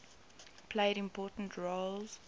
played important roles